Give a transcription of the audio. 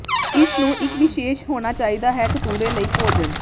ਇਸ ਨੂੰ ਇੱਕ ਵਿਸ਼ੇਸ਼ ਹੋਣਾ ਚਾਹੀਦਾ ਹੈ ਕਤੂਰੇ ਲਈ ਭੋਜਨ